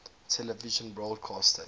television broadcast stations